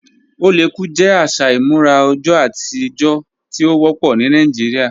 Oléku jẹ aṣa imurà ọjọ̀ atijọ̀ tí o wọpọ ni Nàìjíríà